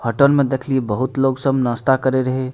Hotel में देखलिये बहुत लोग सब नास्ता करे रहे।